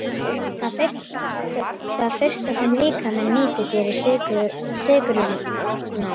Það fyrsta sem líkaminn nýtir sér eru sykrurnar.